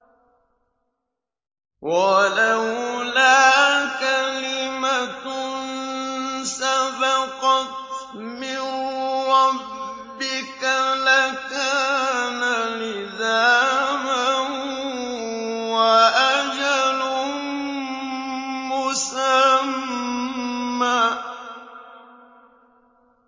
وَلَوْلَا كَلِمَةٌ سَبَقَتْ مِن رَّبِّكَ لَكَانَ لِزَامًا وَأَجَلٌ مُّسَمًّى